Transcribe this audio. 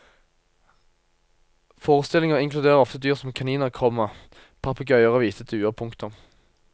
Forestillinger inkluderer ofte dyr som kaniner, komma papegøyer og hvite duer. punktum